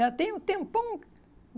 Já tem um tempão